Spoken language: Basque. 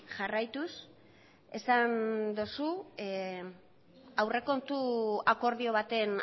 jarraituz esan duzu aurrekontu akordio baten